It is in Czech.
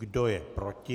Kdo je proti?